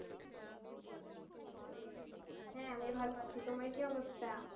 হ্যাঁ আমি ভালো আছি তোমার কি অবস্থা